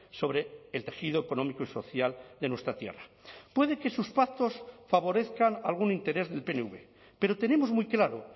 sobre el tejido económico y social de nuestra tierra puede que sus pactos favorezcan algún interés del pnv pero tenemos muy claro